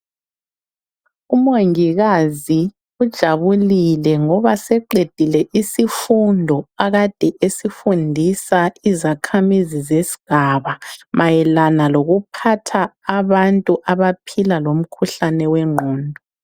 Umongikazi ujabulile ngoba seqedile isifundo akade esifundisa izakhamizi zesigaba mayelana lokuphatha abantu abaphila lomkhuhlane wengqondo.